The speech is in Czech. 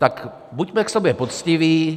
Tak buďme k sobě poctiví.